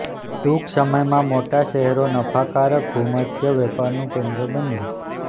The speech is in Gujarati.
ટૂંક સમયમાં મોટા શહેરો નફાકારક ભૂમધ્ય વેપારનું કેન્દ્રો બન્યા